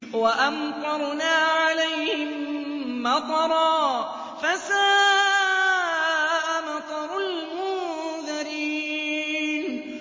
وَأَمْطَرْنَا عَلَيْهِم مَّطَرًا ۖ فَسَاءَ مَطَرُ الْمُنذَرِينَ